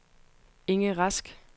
Inge Rask